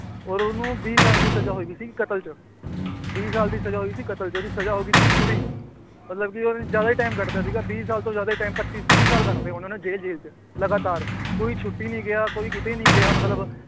ਔਰ ਉਹਨੂੰ ਵੀਹ ਸਾਲ ਦੀ ਸਜ਼ਾ ਹੋਈ ਸੀ ਕਤਲ 'ਚ, ਵੀਹ ਸਾਲ ਦੀ ਸਜ਼ਾ ਹੋਈ ਸੀ ਕਤਲ 'ਚ, ਉਹਦੀ ਸਜ਼ਾ ਹੋ ਗਈ ਸੀ ਪੂਰੀ, ਮਤਲਬ ਕਿ ਉਹਨੇ ਜ਼ਿਆਦਾ ਹੀ time ਕੱਟ ਦਿੱਤਾ ਸੀਗਾ ਵੀਹ ਸਾਲ ਤੋਂ ਜ਼ਿਆਦਾ ਹੀ time ਪੱਚੀ ਤੀਹ ਸਾਲ ਕੱਟ ਦਿੱਤੇ ਉਹਨਾਂ ਨੇ ਜੇਲ੍ਹ ਜੇਲ੍ਹ 'ਚ ਲਗਾਤਾਰ ਕੋਈ ਛੁੱਟੀ ਨੀ ਗਿਆ ਕੋਈ ਕਿਤੇ ਨੀ ਗਿਆ ਮਤਲਬ